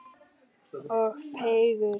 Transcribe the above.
Og fegurð.